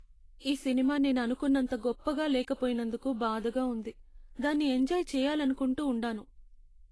ఈ సినిమా నేను అనుకున్నంత గొప్పగా లేకపోయినందుకు బాధగా ఉంది. దాన్ని ఎంజాయ్ చేయాలనుకుంటూ ఉండాను.